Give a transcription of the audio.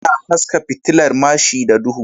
Ana haska fitilar mashi da duhu